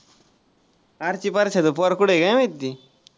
आर्ची परशाचं पोर कुठंय काय माहिती?